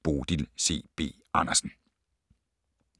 Bodil C. B. Andersen